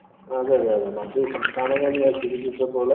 അതെ അതെ മറ്റു സംസ്ഥാനങ്ങളില്‍ ഞാന്‍